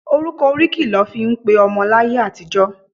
Orúkọ oríkì lọ fí ń pe ọmọ láyé àtijó.